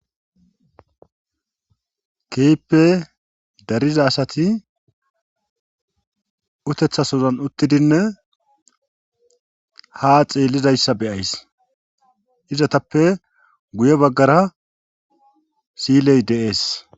kehippe dariza asati utethasozan uttidinne ha xeellizayssa beyays izatappe guye baggara siyiley de7ees